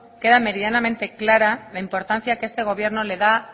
queda meridianamente clara la importancia que este gobierno le da